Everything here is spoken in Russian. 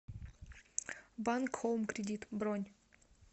банк хоум кредит бронь